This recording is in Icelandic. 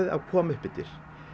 að koma upp eftir